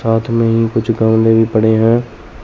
हाथ में ही कुछ गाने भी पड़े हैं।